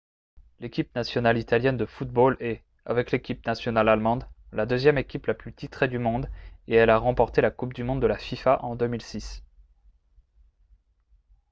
l'équipe nationale italienne de football est avec l'équipe nationale allemande la deuxième équipe la plus titrée du monde et elle a remporté la coupe du monde de la fifa en 2006